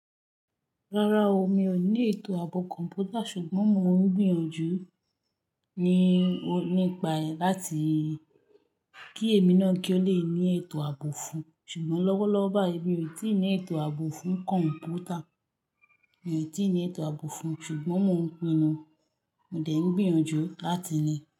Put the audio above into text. Rárá o, mi ò ní ètò ààbò kọ̀mpútà ṣùgbọ́n mo ń gbìyànjú nípa láti kí èmi náà kí ó le ní ètò àbò fún ṣùgbọ́n lọ́wọ́lọ́wọ́ báyìí èmi ò tíì ní ètò àbò fún kọ̀mpútà, mi ò tíì ní ètò àbò fún ṣùgbọ́n mo dé ń gbìyànjú láti ní.